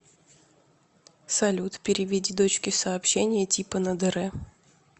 салют переведи дочке сообщение типа на др